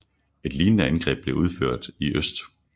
Et lignende angreb blev udført i øst